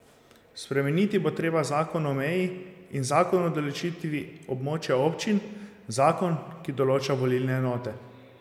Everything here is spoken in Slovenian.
Spremeniti bo treba zakon o meji in zakon o določitvi območja občin, zakon ki določa volilne enote.